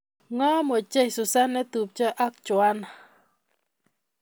Ngom ochei Susan netupcho ago Juan